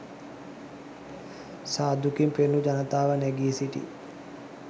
සාදුකින් පෙළුණු ජනතාව නැඟී සිටි